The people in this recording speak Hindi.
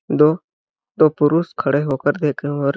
दो दो पुरुष खड़े हो कर देख रहे है और--